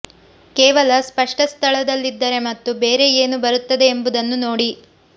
ಕೇವಲ ಸ್ಪಷ್ಟ ಸ್ಥಳದಲ್ಲಿದ್ದರೆ ಮತ್ತು ಬೇರೆ ಏನು ಬರುತ್ತದೆ ಎಂಬುದನ್ನು ನೋಡಿ